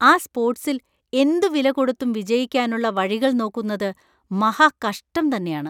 ആ സ്പോർട്സിൽ എന്തുവിലകൊടുത്തും വിജയിക്കാനുള്ള വഴികൾ നോക്കുന്നത് മഹാകഷ്ടം തന്നെയാണ്.